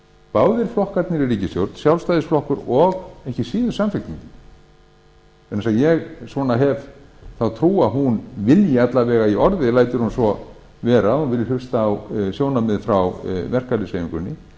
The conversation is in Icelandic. báðir flokkarnir í ríkisstjórn sjálfstæðisðisflokkur og ekki síður samfylkingin vegna þess að ég hef þá ári að hún vilji alla vega í orði lætur hún svo vera að hún vilji hlusta á sjónarmið frá verkalýðshreyfingunni